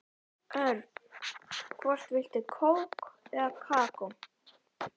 Örn, hvort viltu kók eða kakó?